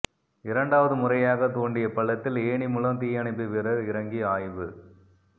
இரண்டாவது முறையாக தோண்டிய பள்ளத்தில் ஏணி மூலம் தீயணைப்பு வீரர் இறங்கி ஆய்வு